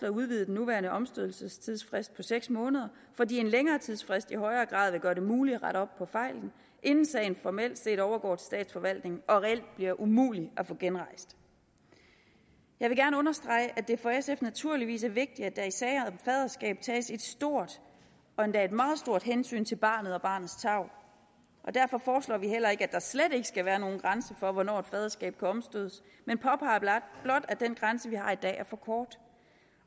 at udvide den nuværende omstødelsesfrist på seks måneder fordi en længere tidsfrist i højere grad vil gøre det muligt at rette op på fejlen inden sagen formelt set overgår til statsforvaltningen og reelt bliver umulig at få genrejst jeg vil gerne understrege at det for sf naturligvis er vigtigt at der i sager om faderskab tages et stort og endda et meget stort hensyn til barnet og barnets tarv og derfor foreslår vi heller ikke at der slet ikke skal være nogen grænse for hvornår et faderskab kan omstødes men påpeger blot at den grænse vi har i dag er for kort